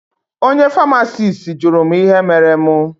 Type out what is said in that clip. Onye famasisti jụrụ mụ ihe mere mụ.